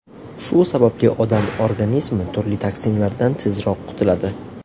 Shu sababli odam organizmi turli toksinlardan tezroq qutiladi.